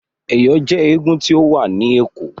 Ẹ̀yọ̀ jẹ́ eégún tí ó wà ni Ẹ̀kọ́.